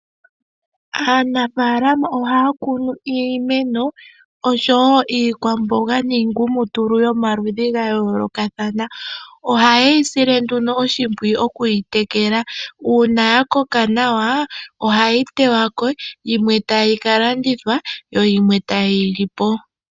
Aanafalama ohaya kunu iimeno, oshowo iikwamboga niingumutulu yomaludhi gayoolokathana. Ohayeyi sile nduno oshimpwiyu, okuyi tekela. Uuna ya koka nawa, ohayeyi teyako, yimwe taya kalanditha, nayimwe tayeyi lipo.